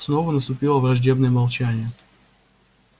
снова наступило враждебное молчание